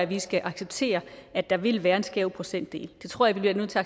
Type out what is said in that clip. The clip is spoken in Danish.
vi skal acceptere at der vil være en skæv procentdel jeg tror vi bliver nødt til